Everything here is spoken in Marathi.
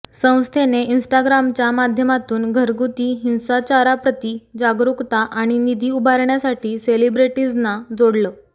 संस्थेने इन्स्टाग्रामच्या माध्यमातून घरगुती हिंसाचाराप्रती जागरुकता आणि निधी उभारण्यासाठी सेलिब्रेटीजना जोडलं